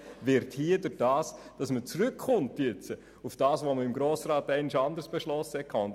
Nun kommt man hier wieder auf das zurück, was man seitens des Grossen Rats einmal anders beschlossen hat.